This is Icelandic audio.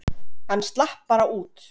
Hann slapp bara út.